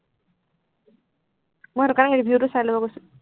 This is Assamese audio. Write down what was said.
মই সেইটো কাৰণে review টো চাই লব কৈছো।